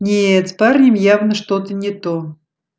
нет с парнем явно что-то не то